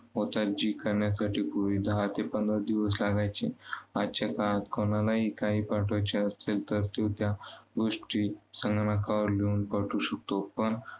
होत आहेत, जी करण्यासाठी पूर्वी दहा ते पंधरा दिवस दिवस लागायचे. आजच्या काळात कुणलाही काही पाठवायचे असेल तर तो त्या गोष्टी संगणकावर घेऊन पाठवू शकतो. पण